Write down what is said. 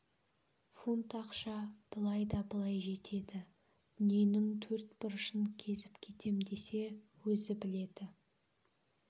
фунт ақша былай да былай жетеді дүниенің төрт бұрышын кезіп кетем десе өзі біледі